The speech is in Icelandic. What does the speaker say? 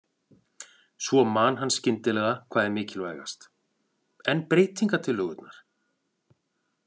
Svo man hann skyndilega hvað er mikilvægast: En breytingatillögurnar?